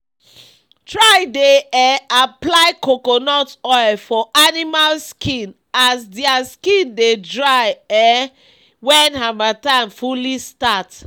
try dey um apply coconut oil for animals skin as dia skin dey dry um wen hamattan fully start